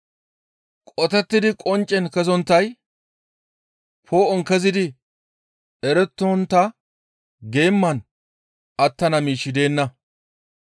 Qotettidi qoncce kezonttay, poo7on kezidi erettontta geeman attana miishshi deenna.